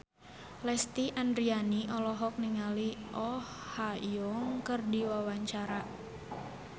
Lesti Andryani olohok ningali Oh Ha Young keur diwawancara